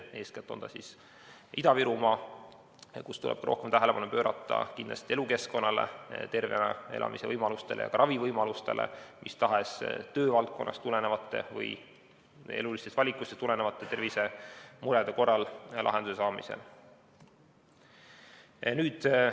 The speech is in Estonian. Eeskätt on see Ida-Virumaa, kus tuleb rohkem tähelepanu pöörata kindlasti elukeskkonnale, tervena elamise võimalustele ja ka ravivõimalustele, mis tahes töövaldkonnast või elulistest valikutest tulenevate tervisemurede korral lahenduse saamisele.